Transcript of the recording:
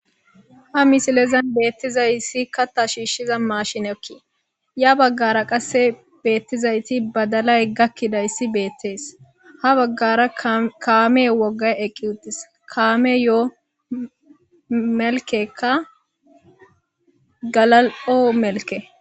Ha misilezani betizayisikka kaaththa shishshiza mashineti ya bagara qase betizayiti badalayi gakidayisi beteesi ha baggara kameyi wogayi eqi uttis kammeyo melikeyika galalio melikke